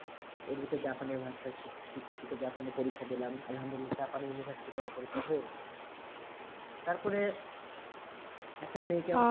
এর ভিতরে জাপানি ভাষা শিখে শিখে জাপানি পরীক্ষা দিলাম আলহামদুলিল্লাহ জাপানি university তে আমার পরীক্ষা হয়ে গেলো তারপরে একটা মেয়ে কে